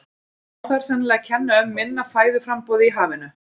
Má þar sennilega kenna um minna fæðuframboði í hafinu.